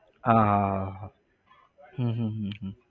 હા હા હમ હમ